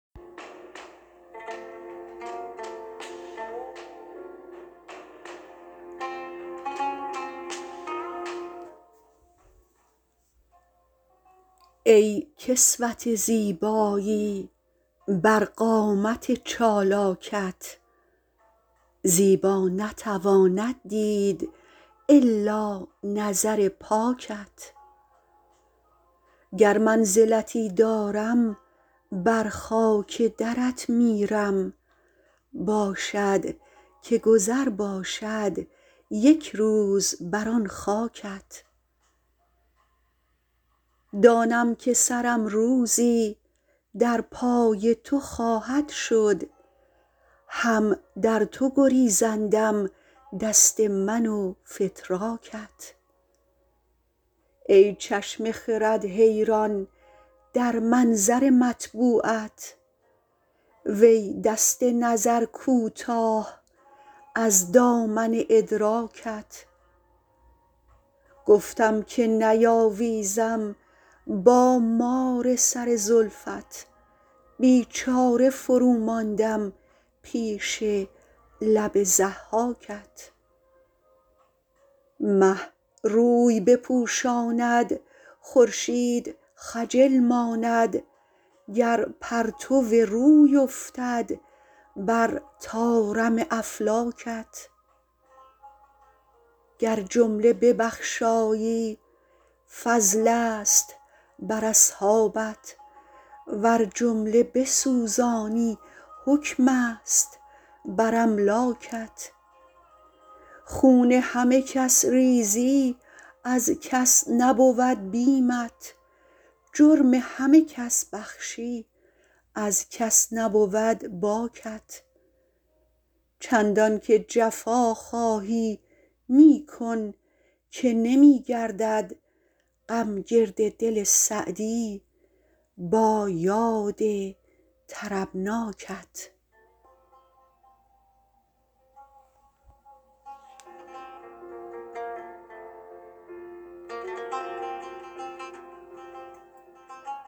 ای کسوت زیبایی بر قامت چالاکت زیبا نتواند دید الا نظر پاکت گر منزلتی دارم بر خاک درت میرم باشد که گذر باشد یک روز بر آن خاکت دانم که سرم روزی در پای تو خواهد شد هم در تو گریزندم دست من و فتراکت ای چشم خرد حیران در منظر مطبوعت وی دست نظر کوتاه از دامن ادراکت گفتم که نیاویزم با مار سر زلفت بیچاره فروماندم پیش لب ضحاکت مه روی بپوشاند خورشید خجل ماند گر پرتو روی افتد بر طارم افلاکت گر جمله ببخشایی فضلست بر اصحابت ور جمله بسوزانی حکمست بر املاکت خون همه کس ریزی از کس نبود بیمت جرم همه کس بخشی از کس نبود باکت چندان که جفا خواهی می کن که نمی گردد غم گرد دل سعدی با یاد طربناکت